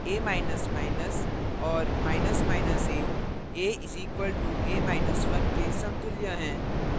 a और a a = a1 के समतुल्य हैं